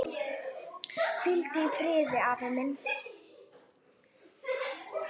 Hvíldu í friði, afi minn.